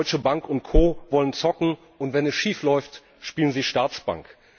Deutsche Bank und Co. wollen zocken, und wenn es schief läuft, spielen sie Staatsbank.